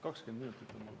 20 minutit?